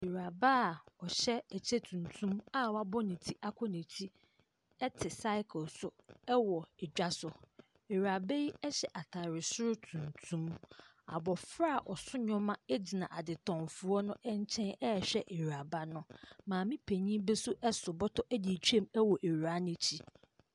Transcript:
Ewuraba a ɔhyɛ ɛkyɛ tuntum a wayɛ ne ti akɔ n'akyi ɛte saikel so ɛwɔ adwa so. Ewuraba yi ɛhyɛ ataare soro tuntum. Abofra a ɔso nnoɔma agyina ade tɔn foɔ no ɛnkyɛn ɛhwɛ ewuraba no. Maame panyin bi nso ɛso bɔtɔ ɛde ɛtwam ɛwɔ ewura no akyi.